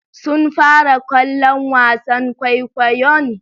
Sun fara kallon wasan kwaikwayon?